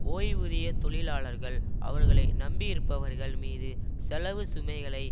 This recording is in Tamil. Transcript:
ஓய்வூதிய தொழிலாளர்கள் அவர்களை நம்பியிருப்பவர்கள் மீது செலவுச் சுமைகளை